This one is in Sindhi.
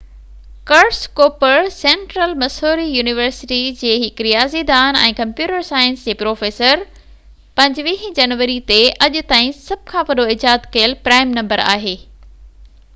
Curtis Cooper Central Missouri University جي هڪ رياضي دان ۽ ڪمپيوٽر سائنس جي پروفيسر 25 جنوري تي اڄ تائين سڀ کان وڏو ايجاد ڪيل پرائم نمبر آهي